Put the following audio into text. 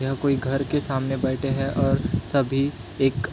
यहाँ कोई घर के सामने बैठे है और सभी एक --